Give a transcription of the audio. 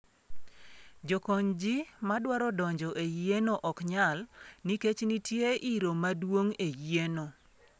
Jokonyji madwaro donjo e yieno ok nyal, nikech nitie iro maduong' e yieno.